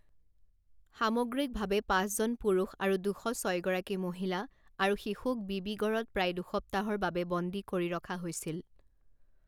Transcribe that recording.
সামগ্ৰিকভাৱে পাঁচজন পুৰুষ আৰু দুশ ছয়গৰাকী মহিলা আৰু শিশুক বিবিগড়ত প্ৰায় দুসপ্তাহৰ বাবে বন্দী কৰি ৰখা হৈছিল।